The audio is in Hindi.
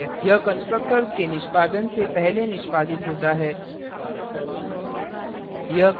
यह constructor के निष्पादन से पहले निष्पादित होता है